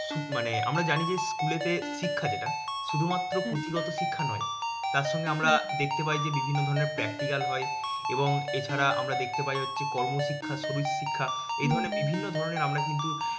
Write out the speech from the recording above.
আমরা জানি স্কুলেতে শিক্ষা যেটা শুধুমাত্র পুঁথিগত শিক্ষা নয়। তার সঙ্গে আমরা দেখতে পাই যে বিভিন্ন ধরনের practical হয় এবং এছারা আমরা দেখতে পাই হচ্ছে করমশিক্ষা শরিরশিক্ষা এধরনের বিভিন্ন ধরনের আমরা কিন্তু